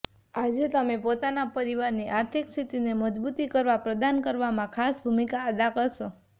આજે તમે પોતાના પરિવાર ની આર્થીક સ્થિતિ ને મજબુતી પ્રદાન કરવામાં ખાસ ભૂમિકા અદા કરશો